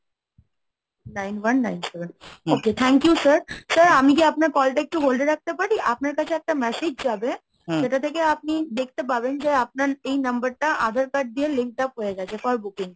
nine one nine seven, okay, thank you sir, Sir আমি কি আপনার call টা একটু hold এ রাখতে পারি? আপনার কাছে একটা message যাবে সেটা থেকে আপনি দেখতে পাবেন যে আপনার এই number টা আধার card দিয়ে link up হয়ে গেছে for booking।